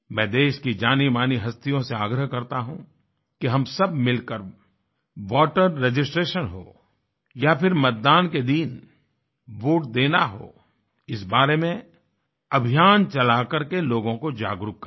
मैं देश की जानीमानी हस्तियों से आग्रह करता हूँ कि हम सब मिलकर वोटर रजिस्ट्रेशन हो या फिर मतदान के दिन वोट देना हो इस बारे में अभियान चलाकरके लोगों को जागरूक करें